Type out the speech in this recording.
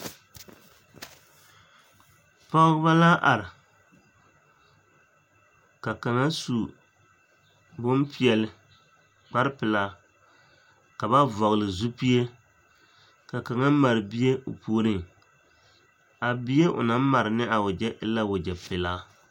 Pɔgebɔ la are ka kaŋa su bompeɛle, kpare pelaa ka ba vɔgele zupie ka kaŋa mare bie o puoriŋ, a bie o naŋ mare ne a wegyɛ e la wegyɛ pelaa.